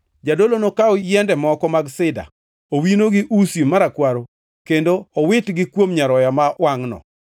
Jadolo nokaw yiende moko mag sida, owino gi usi marakwaro kendo owitgi kuom nyaroya ma wangʼno.